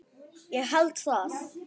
Ég held það,